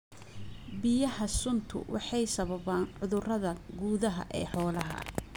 Biyaha suntu waxay sababaan cudurada gudaha ee xoolaha.